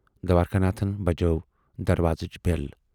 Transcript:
دوارِکا ناتھن بجٲو دروازٕچ بیل۔